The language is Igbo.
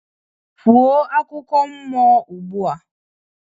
Kwuo akụkọ mmụọ ugbu a